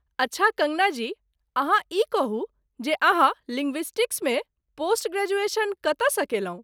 अच्छा कङ्गना जी, अहाँ ई कहू जे अहाँ लिंग्विस्टक्समे पोस्ट ग्रेजुएशन कतयसँ केलहुँ?